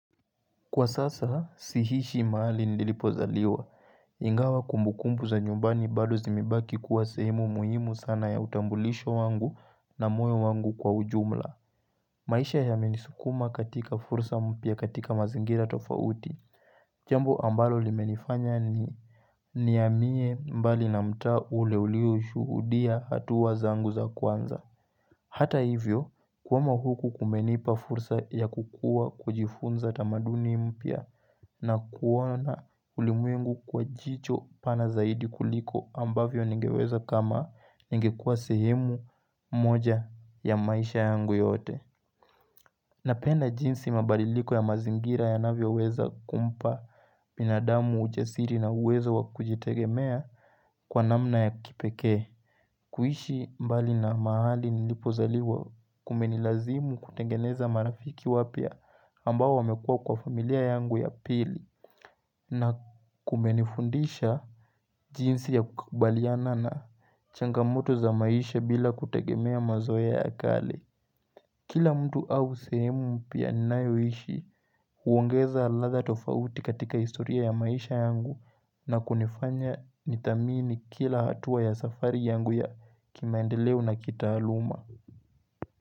Kwa sasa, sihishi mahali nilipozaliwa. Ingawa kumbukumbu za nyumbani bado zimebaki kuwa sehemu muhimu sana ya utambulisho wangu na moyo wangu kwa ujumla. Maisha yamenisukuma katika fursa mpya katika mazingira tofauti. Jambo ambalo limenifanya nihamie mbali na mtaa ule ulioshuhudia hatua zangu za kwanza. Hata hivyo, kuhama huku kumenipa fursa ya kukua kujifunza tamaduni mpya. Na kuona ulimwengu kwa jicho pana zaidi kuliko ambavyo ningeweza kama ningekua sehemu moja ya maisha yangu yote Napenda jinsi mabaliliko ya mazingira yanavyoweza kumpa binadamu ujasiri na uwezo wa kujitegemea kwa namna ya kipekee kuishi mbali na mahali nilipozaliwa kumenilazimu kutengeneza marafiki wapya ambao wamekuwa kwa familia yangu ya pili na kumenifundisha jinsi ya kukubaliana na changamoto za maisha bila kutegemea mazoea ya kale. Kila mtu au sehemu mpya ninayoishi huongeza ladha tofauti katika historia ya maisha yangu na kunifanya nithamini kila hatua ya safari yangu ya kimaendeleo na kitaaluma.